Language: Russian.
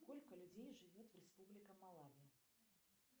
сколько людей живет в республика малави